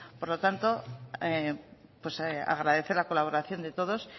por lo tanto agradecer la colaboración de todos